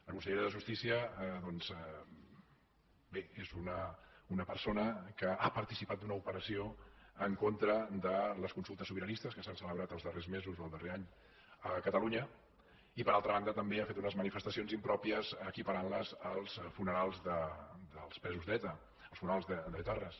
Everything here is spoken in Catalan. la consellera de justícia doncs bé és una persona que ha participat d’una operació en contra de les consultes sobiranistes que s’han celebrat els darrers mesos o el darrer any a catalunya i per altra banda també ha fet unes manifestacions impròpies equiparant les als funerals dels presos d’eta els funerals d’etarres